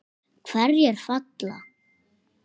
Hverjir falla?